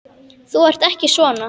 Þú ert ekki svona.